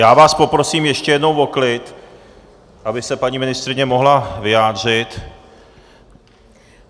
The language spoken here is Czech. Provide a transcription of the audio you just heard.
Já vás poprosím ještě jednou o klid, aby se paní ministryně mohla vyjádřit!